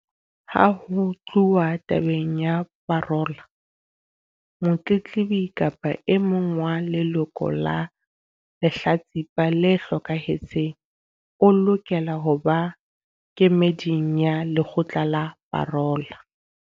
Ha ho tluwa tabeng ya parola, motletlebi kapa e mong wa leloko la lehlatsipa le hlokahetseng o lokela ho ba kemeding ya lekgotla la parola.